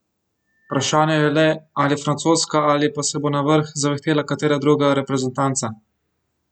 Vprašanje je le, ali francoska ali pa se bo na vrh zavihtela katera druga reprezentanca?